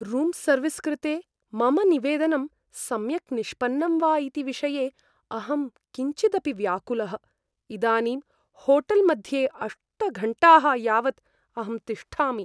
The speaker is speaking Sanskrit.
रूम् सर्विस् कृते मम निवेदनं सम्यक् निष्पन्नम् वा इति विषये अहं किञ्चिदपि व्याकुलः, इदानीं होटेल्मध्ये अष्ट घण्टाः यावत् अहं तिष्ठामि।